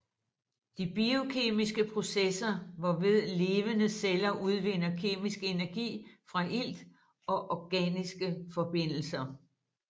De biokemiske processer hvorved levende celler udvinder kemisk energi fra ilt og organiske forbindelser